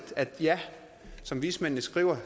som vismændene skriver at